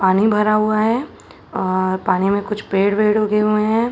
पानी भरा हुआ है और पानी में कुछ पेड़ वेड़ उगे हुएं है।